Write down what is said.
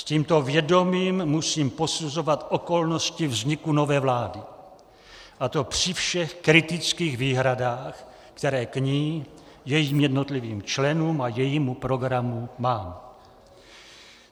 S tímto vědomím musím posuzovat okolnosti vzniku nové vlády, a to při všech kritických výhradách, které k ní, jejím jednotlivým členům a jejímu programu mám.